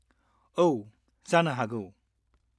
-औ, जानो हागौ।